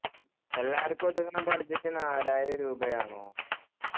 എല്ലാര്ക്കും ഒതുങ്ങുന്ന budget നാലായിരം രൂപ ആണോ